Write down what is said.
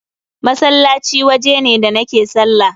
Masallaci waje ne da nake sallah.